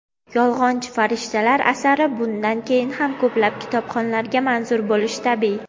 "Yolg‘onchi farishtalar" asari bundan keyin ham ko‘plab kitobxonlarga manzur bo‘lishi tabiiy.